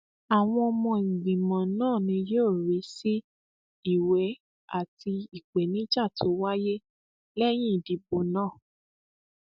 àwọn ọmọ ìgbìmọ náà ni yóò rí sí ìwé àti ìpèníjà tó wáyé lẹyìn ìdìbò náà